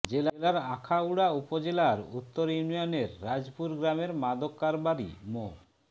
জেলার আখাউড়া উপজেলার উত্তর ইউনিয়নের রাজপুর গ্রামের মাদক কারবারি মো